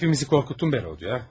Hamımızı qorxutdun bə, Rodya.